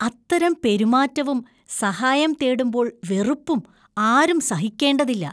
അത്തരം പെരുമാറ്റവും, സഹായം തേടുമ്പോൾ വെറുപ്പും ആരും സഹിക്കേണ്ടതില്ല.